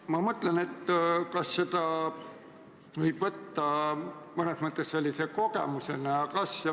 Ma mõtlen, kas seda võib võtta mõnes mõttes kogemusena.